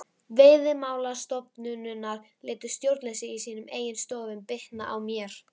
Veiðimálastofnunar létu stjórnleysi í sínum eigin stofnunum bitna á mér.